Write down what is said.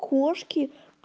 кошки